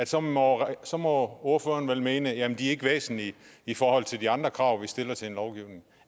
så må så må ordføreren vel mene at de ikke er væsentlige i forhold til de andre krav vi stiller til en lovgivning